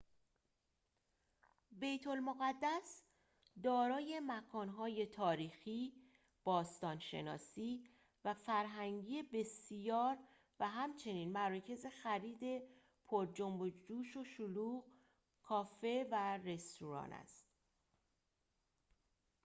بیت المقدس دارای مکان‌های تاریخی باستان شناسی و فرهنگی بسیار و همچنین مراکز خرید پر جنب و جوش و شلوغ کافه و رستوران است